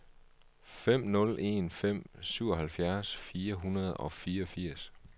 fem nul en fem syvoghalvfjerds fire hundrede og fireogfirs